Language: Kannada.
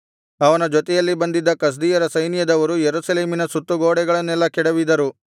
ಅವನ ಜೊತೆಯಲ್ಲಿ ಬಂದಿದ್ದ ಕಸ್ದೀಯ ಸೈನ್ಯದವರು ಯೆರೂಸಲೇಮಿನ ಸುತ್ತು ಗೋಡೆಗಳನ್ನೆಲ್ಲಾ ಕೆಡವಿದರು